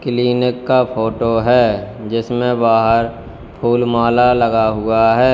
Clinic का photo है जिसमें बाहर फूल माला लगा हुआ है।